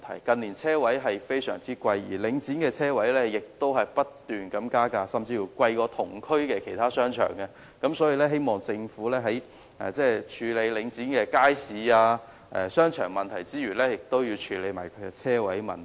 近年，車位的價格相當昂貴，而領展的車位亦不斷加價，甚至較同區其他商場的價格昂貴，所以我希望政府除了處理領展的街市和商場問題外，亦要處理車位的問題。